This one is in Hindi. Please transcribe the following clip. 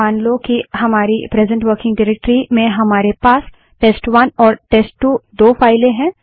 मान लो कि हमारी प्रेसेंट वर्किंग डाइरेक्टरी में हमारे पास टेस्ट1 और टेस्ट2 दो फाइलें हैं